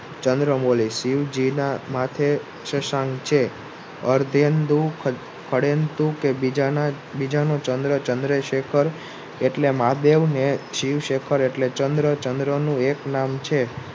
ચંદ્રમૌલી શિવજીના માથે સસાંક છે બીજાનો ચંદ્ર ચંદ્રેશેખર એટલે મેહાદેવઃ ને શિવશેખર એટલે ચન્દ્ર. ચન્દ્રનું એક નામ છે